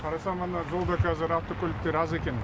хорошо мына жолда қазір автокөліктер аз екен